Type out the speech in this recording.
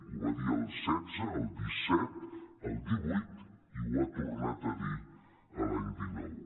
ho va dir el setze el disset el divuit i ho ha tor·nat a dir l’any dinou